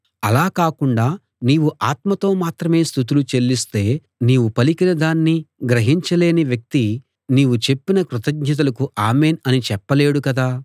అలా కాకుండా నీవు ఆత్మతో మాత్రమే స్తుతులు చెల్లిస్తే నీవు పలికిన దాన్ని గ్రహించలేని వ్యక్తి నీవు చెప్పిన కృతజ్ఞతలకు ఆమేన్‌ అని చెప్పలేడు కదా